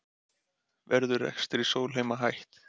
Verður rekstri Sólheima hætt